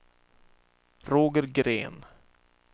Roger Green